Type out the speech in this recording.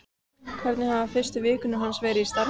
Hvernig hafa fyrstu vikur hans í starfi verið?